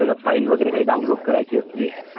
आणि ती आपल्याला साठवून ठेवायची असेल